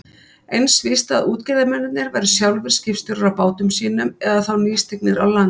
Eins víst að útgerðarmennirnir væru sjálfir skipstjórar á bátum sínum eða þá nýstignir á land.